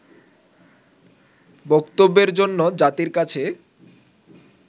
বক্তব্যের জন্য জাতির কাছে